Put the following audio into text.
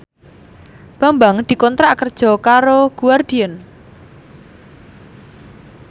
Bambang dikontrak kerja karo Guardian